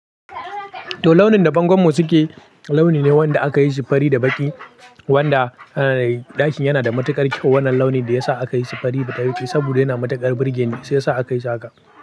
To launin da bangon mu suke, launi ne wanda aka yi shi fari da baƙi wanda ɗakin yana da matuƙar kyau. Wannan launi da ya sa aka yi shi fari da baƙi saboda yana da matuƙar burge ni shiya sa aka yi haka.